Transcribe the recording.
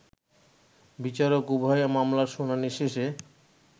বিচারক উভয় মামলার শুনানি শেষে